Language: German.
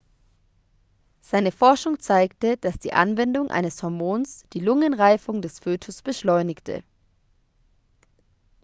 seine forschung zeigte dass die anwendung eines hormons die lungenreifung des fötus beschleunigte